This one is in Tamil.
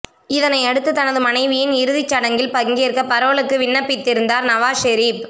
இதனையடுத்து தனது மனைவியின் இறுதி சடங்கில் பங்கேற்க பரோலுக்கு விண்ணப்பித்திருந்தார் நவாஷ் ஷெரீப்